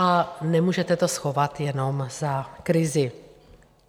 A nemůžete to schovat jenom za krizi.